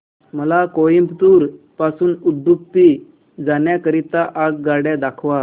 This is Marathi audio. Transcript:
मला कोइंबतूर पासून उडुपी जाण्या करीता आगगाड्या दाखवा